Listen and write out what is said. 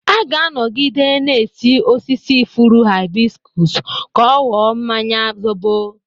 A ga-anọgide na-esi osisi ifuru hịbiskụs kọ ọghọọ mmanya zọbọ.